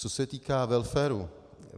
Co se týká welfaru.